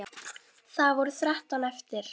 Það voru þrettán eftir!